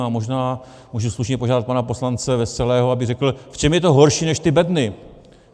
A možná můžu slušně požádat pana poslance Veselého, aby řekl, v čem je to horší než ty bedny.